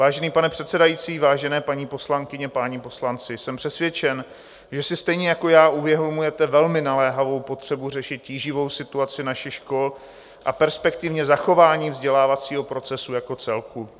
Vážený pane předsedající, vážené paní poslankyně, páni poslanci, jsem přesvědčen, že si stejně jako já uvědomujete velmi naléhavou potřebu řešit tíživou situaci našich škol a perspektivně zachování vzdělávacího procesu jako celku.